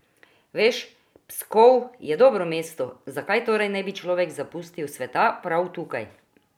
Veš, Pskov je dobro mesto, zakaj torej ne bi človek zapustil sveta prav tukaj?